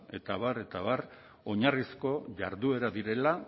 eta abar eta abar oinarrizko jarduerak direla